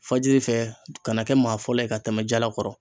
Fajiri fɛ ka na kɛ maa fɔlɔ ye ka tɛmɛ jalakɔrɔ